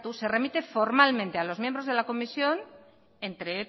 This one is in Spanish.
se remite formalmente a los miembros de la comisión entre